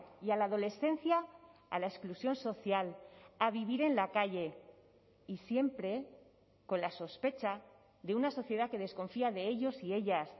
y a la adolescencia a la exclusión social a vivir en la calle y siempre con la sospecha de una sociedad que desconfía de ellos y ellas